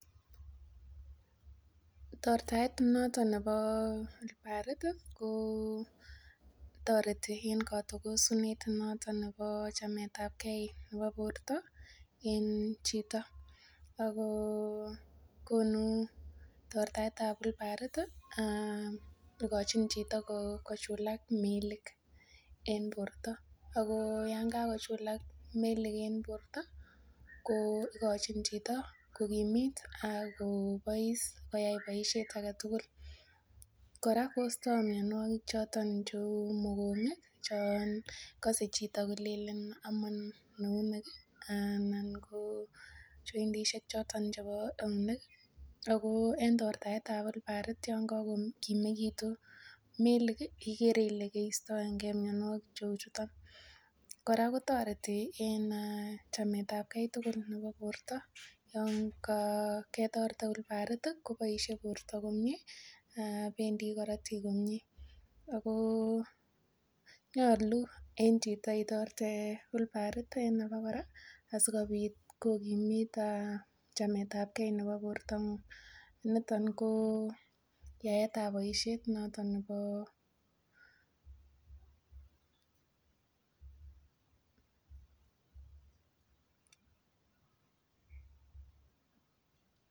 Tortaet noton nebo olbarit ih ko toreti en kotogosunet noton nebo chametabgee nebo borto en chito ako konu tortaet ab olbarit ih ikochin chito kochulak melik en borto ako yan kakochulak melik en borto ko ikochin chito kokimit akobois koyai boisiet aketugul kora kostoo mionwogik choton cheu mokongi chon kose chito kolenen omon eunek ih anan ko jointisiek choton chebo eunek ako en tortaet ab olbarit yon kakokimekitun melik ih ikere ile keistoengee mionwogik cheuchuton kora kotoreti en chametabgee tugul nebo borto yon ketorte olbarit ih koboisie borto komie bendii korotik komie ako nyolu en chito itorte olbarit en abokora asikobit kokimit chametabgee nebo bortong'ung niton ko yaetab boisiet noton nebo